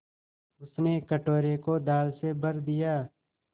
उसने कटोरे को दाल से भर दिया